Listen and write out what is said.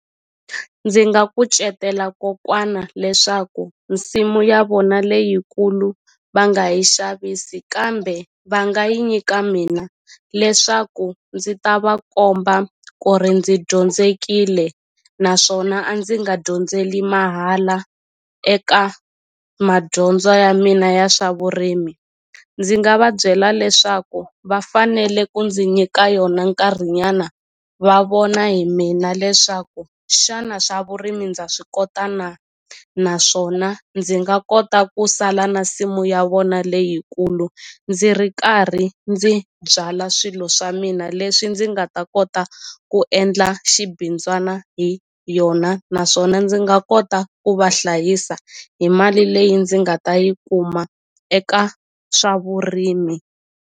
Ndzi nga kucetela kokwana leswaku nsimu ya vona leyikulu va nga yi xavisi kambe va nga yi nyika mina leswaku ndzi ta va komba ku ri ndzi dyondzekile naswona a ndzi nga dyondzeli mahala eka madyondzo ya mina ya swa vurimi ndzi nga va byela leswaku va fanele ku ndzi nyika yona nkarhi nyana va vona hi mina leswaku xana swa vurimi ndza swi kota na naswona ndzi nga kota ku sala na nsimu ya vona leyikulu ndzi ri karhi ndzi byala swilo swa mina leswi ndzi nga ta kota ku endla xibindzwana hi yona naswona ndzi nga kota ku va hlayisa hi mali leyi ndzi nga ta yi kuma eka swa vurimi.